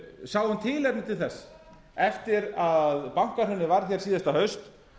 sjáum tilefni til þess eftir að bankahrunið varð hér síðastliðið haust